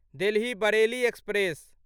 Delhi Bareilly express